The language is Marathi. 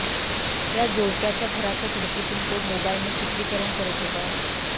या जोडप्याच्या घराच्या खिडकीतून तो मोबाईलने चित्रीकरण करत होता